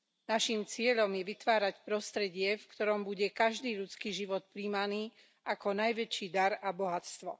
Naším cieľom je vytvárať prostredie, v ktorom bude každý ľudský život prijímaný ako najväčší dar a bohatstvo.